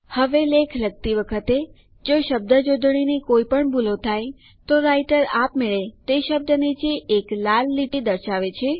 હવે લેખ લખતી વખતે જો શબ્દજોડણીની કોઈ પણ ભૂલો થાય તો રાઈટર આપમેળે તે શબ્દ નીચે એક લાલ લીટી દ્વારા દર્શાવે છે